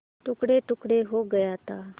टुकड़ेटुकड़े हो गया था